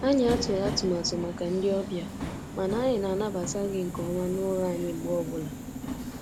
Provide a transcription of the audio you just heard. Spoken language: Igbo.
Anyị atụghị atụmatụ màkà ndị ọbịa, mana anyị na-anabata gị nke ọma n'ụlọ anyị mgbe ọ bụla.